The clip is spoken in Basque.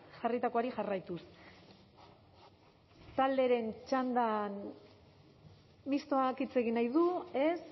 jarritakoari jarraituz talderen txandan mistoak hitz egin nahi du ez